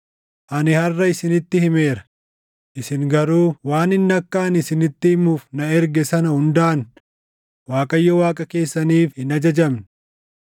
Ani harʼa isinitti himeera; isin garuu waan inni akka ani isinitti himuuf na erge sana hundaan Waaqayyo Waaqa keessaniif hin ajajamne.